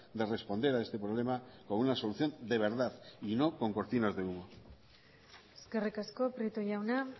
de responder a este problema con una solución de verdad y no con cortinas de humo eskerrik asko prieto jauna